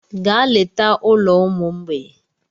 Gaa leta ụlọ ụmụ mgbei!